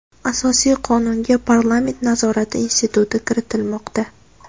Asosiy Qonunga parlament nazorati instituti kiritilmoqda.